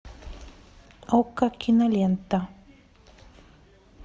окко кинолента